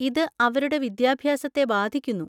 ഇത് അവരുടെ വിദ്യാഭ്യാസത്തെ ബാധിക്കുന്നു.